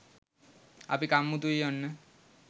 අපි කම්මුතුයි ඔන්න.